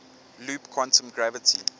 loop quantum gravity